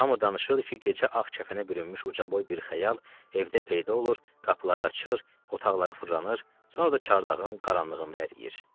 Hamı danışırdı ki, gecə ağ kəfənə bürünmüş ucaboy bir xəyal evdə peyda olur, qapıları açır, otaqları fırlanır, sonra da çardağın qaranlığında əriyir.